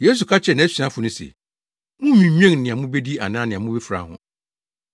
Yesu ka kyerɛɛ nʼasuafo no se, “Munnnwinnwen nea mubedi anaa nea mubefura ho.